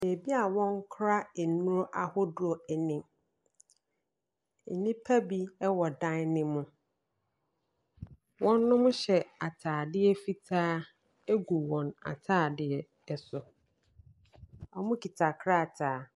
Baabi a wɔkora nnuro ahodoɔ nie. Nnipa bi wɔ dan no mu. Wɔhyɛ atadeɛ fitaa gu wɔn atadeɛ so. Wɔkita krataa.